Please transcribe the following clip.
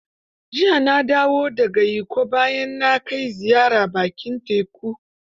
Jiya na dawo da ga Ikko bayan na kai ziyara bakin teku.